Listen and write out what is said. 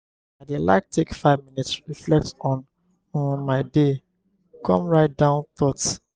i dey like take five minutes reflect on um my day come write down thoughts.